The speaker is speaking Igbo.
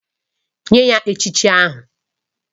Nye ya echichi ahụ!!